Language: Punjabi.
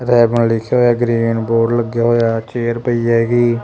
ਗਰੀਨ ਬੋਰਡ ਲੱਗਿਆ ਹੋਇਆ ਚੇਅਰ ਪਈ ਹੈਗੀ।